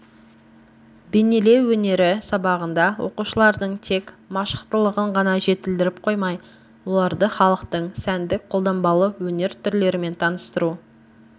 бейнелеу өнері сабағында оқушылардың тек машықтылығын ғана жетілдіріп қоймай оларды халықтың сәндік-қолданбалы өнер түрлерімен таныстыру